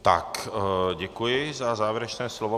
Tak, děkuji za závěrečné slovo.